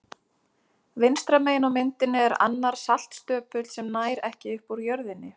Vinstra megin á myndinni er annar saltstöpull sem nær ekki upp úr jörðinni.